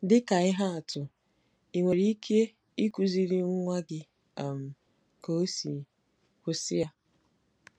Dị ka ihe atụ, i nwere ike ịkụziri nwa gị um ka ọ sị: “ Kwụsị ya!